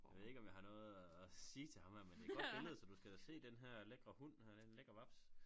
Jeg ved ikke om jeg har noget at at sige til ham her men det et godt billede så du skal da se denne her lækre hund her det en lækker vaps